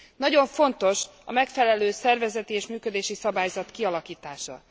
Nagyon fontos a megfelelő szervezeti és működési szabályzat kialakítása.